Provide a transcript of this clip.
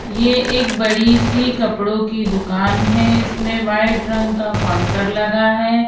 ये एक बड़ी सी कपड़ों की दुकान है इसमें वाइट रंग का काउंटर लगा है।